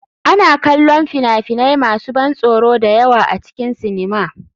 Ana kallon fina-finai masu ban tsoro da yawa a cikin sinima.